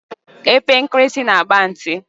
Epe nkirisi na-agba ntị.